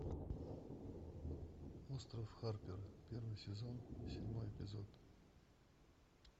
остров харпера первый сезон седьмой эпизод